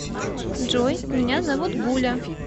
джой меня зовут гуля